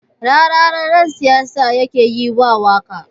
Rarara ƴan siyasa yake yiwa waƙa